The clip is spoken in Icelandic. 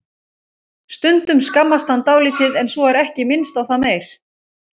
Stundum skammast hann dálítið en svo er ekki minnst á það meir.